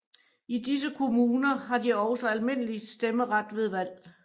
I disse kommuner har de også almindelig stemmeret ved valg